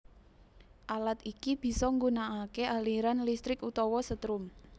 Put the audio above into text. Alat iki bisa nggunakaké aliran listrik utawa setrum